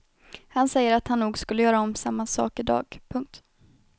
Han säger att han nog skulle göra om samma sak i dag. punkt